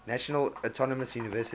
national autonomous university